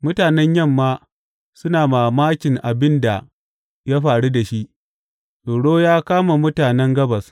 Mutanen Yamma suna mamakin abin da ya faru da shi; tsoro ya kama mutanen gabas.